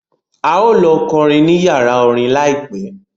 A ó lọ kọrin ní yàrá orin láìpẹ́